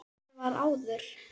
Það var áður.